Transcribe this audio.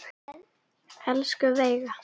Elsku Veiga.